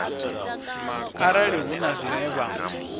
arali hu na zwine vha